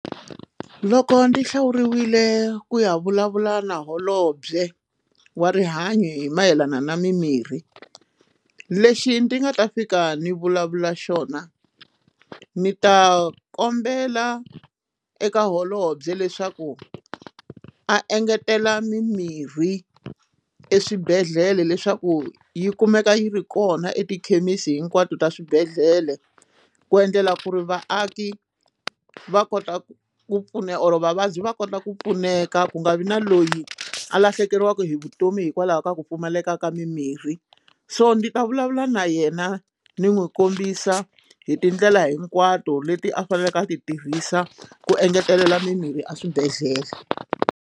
Loko ndzi hlawuriwile ku ya vulavula na holobye wa rihanyo hi mayelana na mimirhi lexi ndzi nga ta fika ni vulavula xona ndzi ta kombela eka holobye leswaku a engetela mimirhi eswibedhlele leswaku yi kumeka yi ri kona etikhemisi hinkwato ta swibedhlele ku endlela ku ri vaaki va kota ku ku pfuna or vavabyi va kota ku pfuneka ku nga vi na loyi a lahlekeriwaka hi vutomi hikwalaho ka ku pfumaleka ka mimirhi so ndzi ta vulavula na yena ni n'wi kombisa hi tindlela hinkwato leti a faneleke a ti tirhisa ku engetelela mimirhi a swibedhlele.